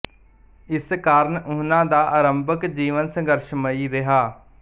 ਇਸ ਕਾਰਨ ਉਹਨਾਂ ਦਾ ਆਰੰਭਕ ਜੀਵਨ ਸੰਘਰਸ਼ਮਈ ਰਿਹਾ